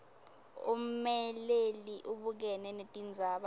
ummeleli ubukene netindzaba